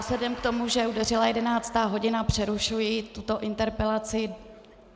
Vzhledem k tomu, že udeřila jedenáctá hodina, přerušuji tuto interpelaci.